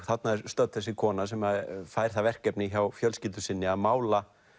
þarna er stödd þessi kona sem fær það verkefni hjá fjölskyldu sinni að mála